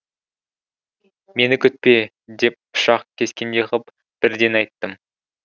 мені күтпе деп пышақ кескендей ғып бірден айттым